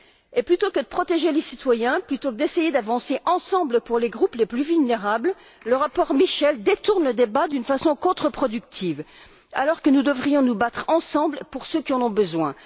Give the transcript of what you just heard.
Et plutôt que de protéger les citoyens, plutôt que d'essayer d'avancer ensemble pour les groupes les plus vulnérables, le rapport Michel détourne le débat d'une façon contreproductive, alors que nous devrions nous battre ensemble pour ceux qui en ont besoin.